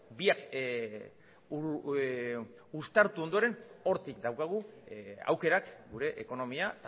biak uztartu ondoren hortik daukagu aukerak gure ekonomia